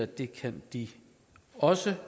det kan de også